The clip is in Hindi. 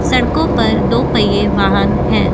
सड़कों पर दो पहिए वाहन है।